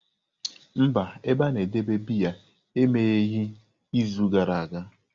Mba, ebe a na-edebe biya emegheghị izu gara aga.